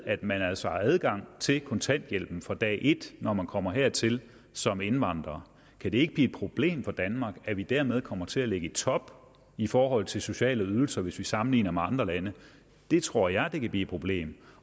at man altså har adgang til kontanthjælp fra dag et når man kommer hertil som indvandrer kan det ikke blive et problem for danmark at vi dermed kommer til at ligge i top i forhold til sociale ydelser hvis vi sammenligner os med andre lande det tror jeg kan blive et problem